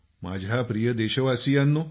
माझ्या प्रिय देशवासियांनो